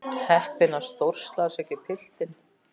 Heppinn að stórslasa ekki piltinn.